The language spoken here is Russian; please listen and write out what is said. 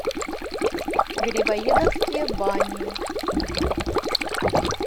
грибоедовские бани